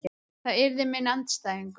Það yrði minn andstæðingur.